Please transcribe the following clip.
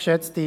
der BaK.